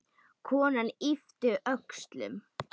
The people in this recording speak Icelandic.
Konan yppti öxlum.